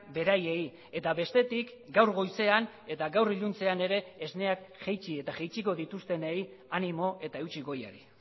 beraiei eta bestetik gaur goizean eta gaur iluntzean ere esneak jaitsi eta jaitsiko dituztenei animo eta eutsi goiari